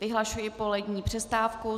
Vyhlašuji polední přestávku.